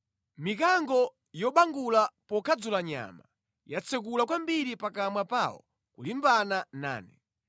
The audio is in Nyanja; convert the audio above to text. Mikango yobangula pokadzula nyama, yatsekula kwambiri pakamwa pawo kulimbana nane.